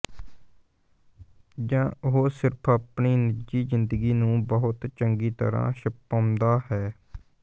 ਜਾਂ ਉਹ ਸਿਰਫ ਆਪਣੀ ਨਿੱਜੀ ਜ਼ਿੰਦਗੀ ਨੂੰ ਬਹੁਤ ਚੰਗੀ ਤਰ੍ਹਾਂ ਛੁਪਾਉਂਦਾ ਹੈ